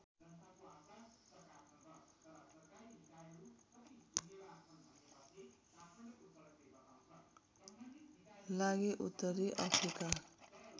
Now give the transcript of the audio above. लागि उत्तरी अफ्रिका